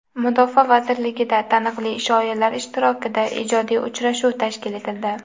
Mudofaa vazirligida taniqli shoirlar ishtirokida ijodiy uchrashuv tashkil etildi.